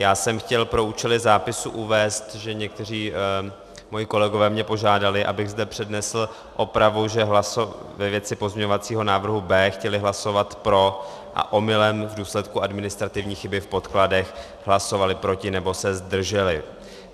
Já jsem chtěl pro účely zápisu uvést, že někteří moji kolegové mě požádali, abych zde přednesl opravu, že ve věci pozměňovacího návrhu B chtěli hlasovat pro a omylem v důsledku administrativní chyby v podkladech hlasovali proti nebo se zdrželi.